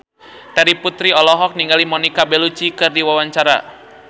Terry Putri olohok ningali Monica Belluci keur diwawancara